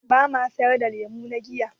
Ba ma sayar da lemuna giya.